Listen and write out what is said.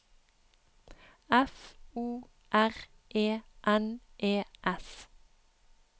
F O R E N E S